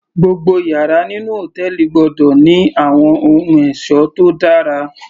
Gbogbo yàrá nínú hòtẹ́ẹ̀lì gbọ́dọ̀ ní àwọn ohun ẹ̀ṣọ́ tó dára